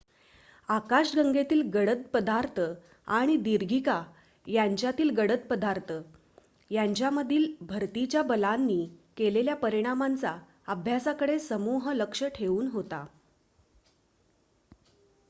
आकाश गंगेतील गडद पदार्थ आणि दीर्घिका यांच्यातील गडद पदार्थ यांच्यामधील भरतीच्या बलांनी केलेल्या परिणामांचा अभ्यासाकडे समूह लक्ष ठेवून होता